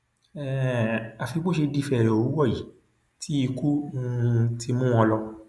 um àfi bó ṣe di fẹẹrẹ òwúrọ yìí tí ikú um ti mú wọn lò